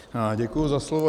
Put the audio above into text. Děkuji za slovo.